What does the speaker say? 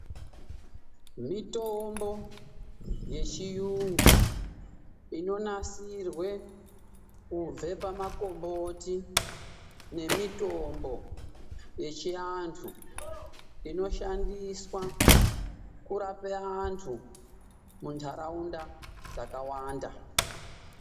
Mitombo yechiyungu inonasirwe kubve pamakomboti nemitombo yechiantu inoshandiswa kurape antu mundaraunda dzakawanda.